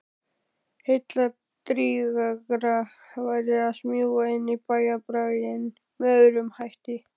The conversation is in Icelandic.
Heilladrýgra væri að smjúga inn í bæjarbraginn með öðrum hætti.